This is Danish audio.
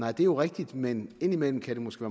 er jo rigtigt men indimellem kan det måske